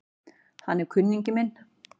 Hann er kunningi minn